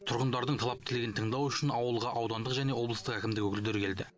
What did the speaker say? тұрғындардың талап тілегін тыңдау үшін ауылға аудандық және облыстық әкімдік өкілдері келді